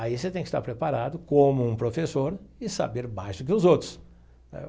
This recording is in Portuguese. Aí você tem que estar preparado como um professor e saber mais do que os outros.